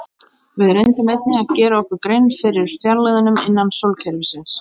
Við reyndum einnig að gera okkur grein fyrir fjarlægðunum innan sólkerfisins.